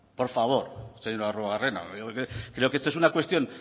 por favor señor arruabarrena creo que esto es una cuestión